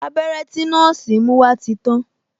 Abẹ́rẹ́ tí nọ́ọ̀sì mú wá ti tàn